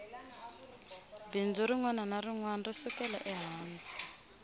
bindzu rinwana ni rinwana ri sukela ehansi